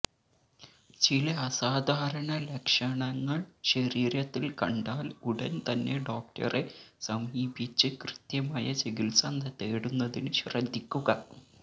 ചില അസാധാരണ ലക്ഷണങ്ങള് ശരീരത്തില് കണ്ടാല് ഉടന് തന്നെ ഡോക്ടറെ സമീപിച്ച് കൃത്യമായ ചികിത്സ തേടുന്നതിന് ശ്രദ്ധിക്കുക